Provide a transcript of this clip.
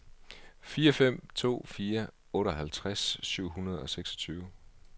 fire fem to fire otteoghalvtreds syv hundrede og seksogtyve